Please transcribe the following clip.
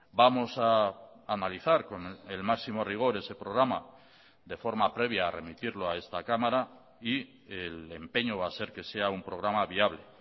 vamos a analizar con el máximo rigor ese programa de forma previa a remitirlo a esta cámara y el empeño va a ser que sea un programa viable